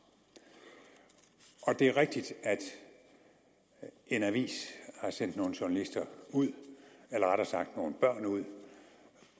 det er rigtigt at en avis har sendt nogle journalister ud eller rettere sagt nogle børn ud